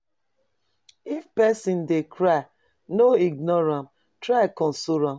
If pesin dey cry, no ignore am, try console am.